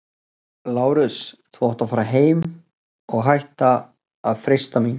LÁRUS: Þú átt að fara heim- og hætta að freista mín!